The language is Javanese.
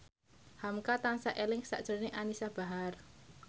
hamka tansah eling sakjroning Anisa Bahar